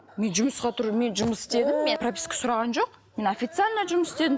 мен жұмысқа мен жұмыс істедім мен прописка сұраған жоқ мен официально жұмыс істедім